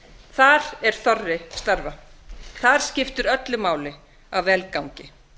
þar er þorri starfa a skiptir öllu máli að vel gangi